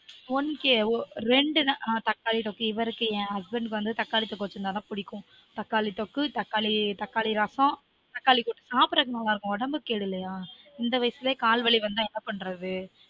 one கே ரெண்டு நாள் தக்காளி தொக்கு இவருக்கு என் husband க்கு வந்து தக்காளி தொக்கு வச்சுரிந்தா தான் புடிக்கும் தக்காளி தொக்கு தக்காளி தக்காளி ரசம் தக்காளி கூட்டு சாப்பிடிறதுக்கு நல்லா இருக்கும் உடம்புக்கு கேடு இல்லயா இந்த வயசுலயே கால் வலி வந்தா என்ன பண்றது